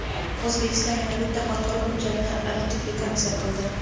O‘zbekiston yana bitta xalqaro hujjatni ratifikatsiya qildi.